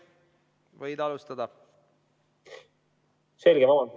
Võid alustada.